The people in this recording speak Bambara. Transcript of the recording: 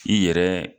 I yɛrɛ